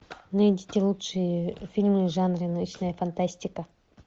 найдите лучшие фильмы в жанре научная фантастика